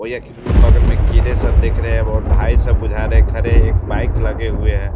कोई एक भी बगल में कीड़े सब देख रहे है और भाई सब बुझा रहे है खड़े और एक बाइक लगे हुए है।